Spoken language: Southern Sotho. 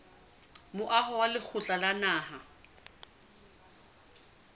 moaho wa lekgotla la naha